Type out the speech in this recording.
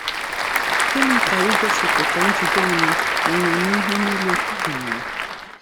Gịnị ka igosipụta “njide onwe onwe n’ihe nile” gụnyere?